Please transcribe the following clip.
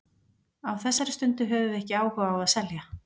Á þessari stundu höfum við ekki áhuga á að selja.